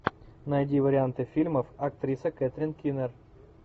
найди варианты фильмов актриса кэтрин кинер